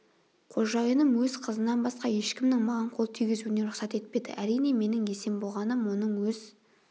қожайыным өз қызынан басқа ешкімнің маған қол тигізуіне рұқсат етпеді әрине менің есен болғаным оның өз